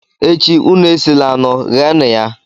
echi, unu esila anụ ghee nụ ya